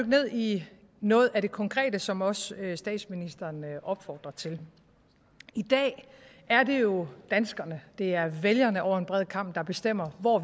ned i noget af det konkrete som også statsministeren opfordrer til i dag er det jo danskerne det er vælgerne over en bred kam der bestemmer hvor